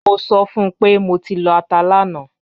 Mo sọ fun pe mo ti lọ ata lana